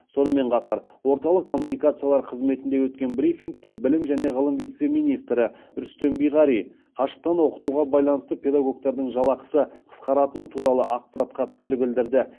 сонымен қатар орталық коммуникациялар қызметінде өткен брифингте білім және ғылым вице министрі рүстем биғари қашықтан оқытуға байланысты педагогтардың жалақысы қысқаратыны туралы ақпаратқа пікір білдірді